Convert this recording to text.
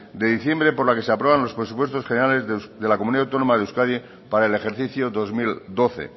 de diciembre por la que se aprueban los presupuestos generales de la comunidad autónoma de euskadi para el ejercicio dos mil doce